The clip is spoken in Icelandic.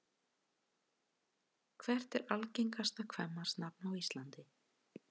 Hvert er algengasta kvenmannsnafn á Íslandi?